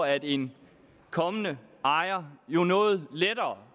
at en kommende ejer jo noget lettere